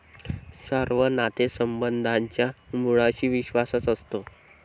सर्व नातेसंबंधांच्या मुळाशी विश्वासच असतो.